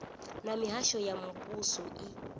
na mihasho ya muvhuso i